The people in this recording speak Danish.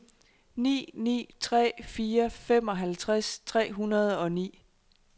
ni ni tre fire femoghalvtreds tre hundrede og ni